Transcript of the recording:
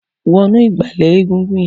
Wọ̀nú igbálẹ̀ égúngún yèn